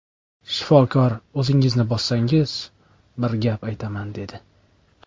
Shifokor o‘zingizni bossangiz bir gap aytaman dedi.